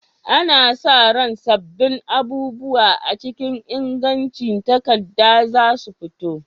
Ana sa ran sabbin abubuwa a cikin ingancin takarda za su fito.